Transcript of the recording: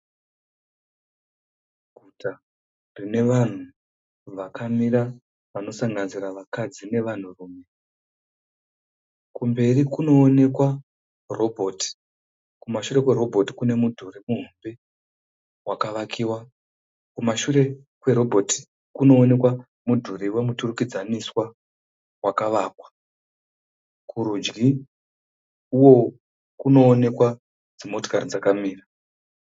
Guta rine vanhu vakamira vanosanganisira vakadzi nevarume. Kumberi kunoonekwa roboti. Kumashore kwerobhoti kune mudhuri muhombe wakavakiwa..Kumashure kwerobhoti kunoonekwa mudhuri wemuturikdzaniswa wakavakwa, kurudyi kunoonekwa dzimotokari dzakamira.